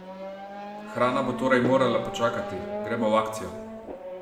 Hrana bo torej morala počakati, gremo v akcijo!